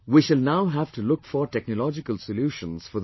We shall now have to look for technological solutions for these